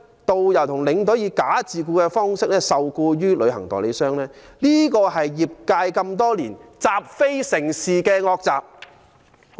導遊、領隊以"假自僱"方式受僱於旅行代理商，這是業界多年來習非成是的惡習。